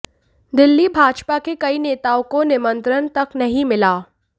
दिल्ली भाजपा के कई नेताओं को निमंत्रण तक नहीं मिला